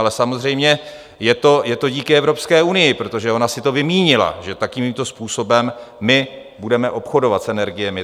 Ale samozřejmě je to díky Evropské unii, protože ona si to vymínila, že takovýmto způsobem my budeme obchodovat s energiemi.